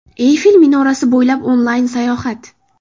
Eyfel minorasi bo‘ylab onlayn sayohat.